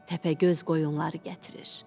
Təpəgöz qoyunları gətirir.